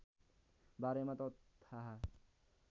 बारेमा त थाहा